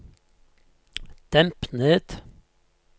demp ned